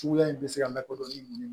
Suguya in bɛ se ka lakodɔn ni